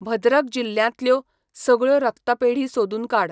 भद्रक जिल्ल्यांतल्यो सगळ्यो रक्तपेढी सोदून काड.